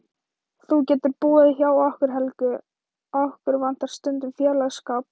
Þú getur búið hjá okkur Helgu, okkur vantar stundum félagsskap.